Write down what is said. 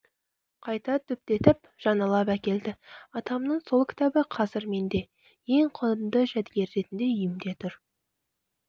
қайта түптетіп жаңалап әкелді атамның сол кітабы қазір менде ең құнды жәдігер ретінде үйімде тұр